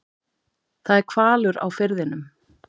Það er hvalur á firðinum.